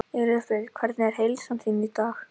Elísabet: Hvernig er heilsa þín í dag?